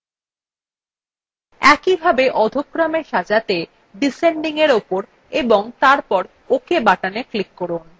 একইভাবে অধ: ক্রমএ সাজাতে descendingএর উপর এবং তারপর ok button click করুন